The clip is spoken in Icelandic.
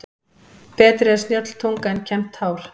Betri er snjöll tunga en kembt hár.